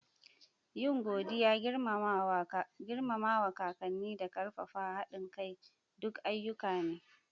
Yin godiya, girmama kakanni, da ƙarfafa haɗin kai duk ayyuka ne.